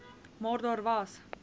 maar daar was